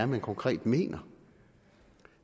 man konkret mener